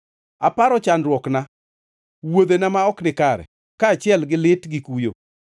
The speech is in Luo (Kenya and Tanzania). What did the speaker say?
Aparo chandruokna, wuodhena ma ok nikare, kaachiel gi lit gi kuyo.